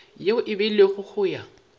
yeo e beilwego go ya